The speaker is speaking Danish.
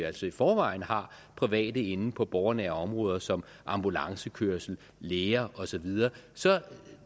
altså i forvejen har private inde på borgernære områder som ambulancekørsel læger og så videre så